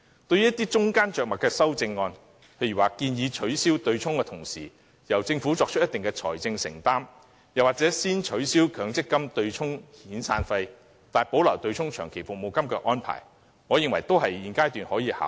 對於一些中間着墨的修正案，例如建議取消對沖機制的同時，由政府作出一定的財政承擔，又或是先取消強積金對沖遣散費，但保留對沖長期服務金的安排，我認為現階段均可考慮。